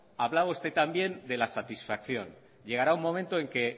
hablaba usted también de la satisfacción llegará un momento en que